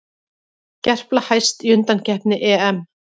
Gerpla hæst í undankeppni EM